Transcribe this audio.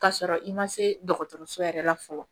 K'a sɔrɔ i ma se dɔgɔtɔrɔso yɛrɛ la fɔlɔ